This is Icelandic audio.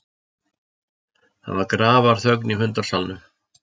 Það var grafarþögn í fundarsalnum.